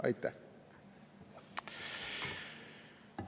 Aitäh!